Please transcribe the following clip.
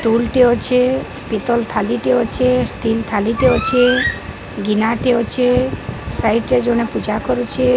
Tool ଟେଏଁ ଅଛେଁ ପିତଲ୍ ଥାଲି ଟେଏଁ ଅଛେଁ ଷ୍ଟିଲ୍ ଥାଲି ଟେଏଁ ଅଛେଁ ଗିନା ଟେଏଁ ଅଛେଁ ସାଇଟ୍ ରେ ଜଣେ ପୂଜା କରୁଚି।